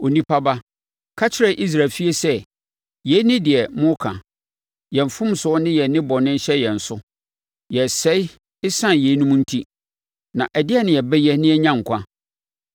“Onipa ba, ka kyerɛ Israel efie sɛ: ‘Yei ne deɛ moreka: “Yɛn mfomsoɔ ne yɛn nnebɔne hyɛ yɛn so, yɛresɛe ɛsiane yeinom enti. Na ɛdeɛn na yɛbɛyɛ na yɛanya nkwa?” ’